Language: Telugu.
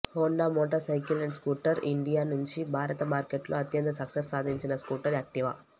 Honda motorcycle and scooter India నుంచి భారత మార్కెట్లో అత్యంత సక్సెస్ సాధించిన స్కూటర్ యాక్టివా